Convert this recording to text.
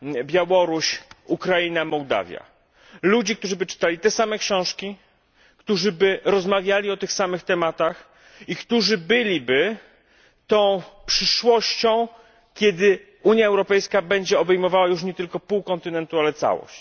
Białorusi, Ukrainy, Mołdawii, ludzi, którzy czytaliby te same książki, którzy rozmawialiby nate same tematy iktórzy byliby przyszłością, kiedy Unia Europejska będzie obejmowała już nie tylko pół kontynentu, ale całość.